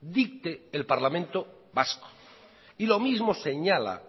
dicte el parlamento vasco y lo mismo señala